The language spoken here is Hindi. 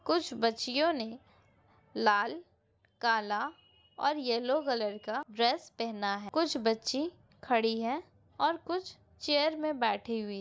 कुछ बच्चियों ने लाल काला और येलो कलर का ड्रेस पेहना हैं कुछ बच्ची खड़ी हैंऔर कुछ चेयर में बैठी हुई हैं।